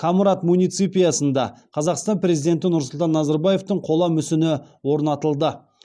комрат муниципиясында қазақстан президенті нұрсұлтан назарбаевтың қола мүсіні орнатылды